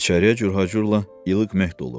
İçəriyə cürhacurla ilıq meht olurdu.